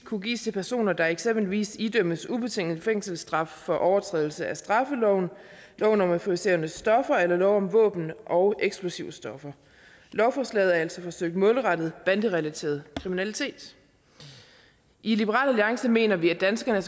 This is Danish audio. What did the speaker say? kunne gives til personer der eksempelvis idømmes ubetinget fængselsstraf for overtrædelse af straffeloven lov om euforiserende stoffer eller lov om våben og eksplosivstoffer lovforslaget er altså forsøgt målrettet banderelateret kriminalitet i liberal alliance mener vi at danskerne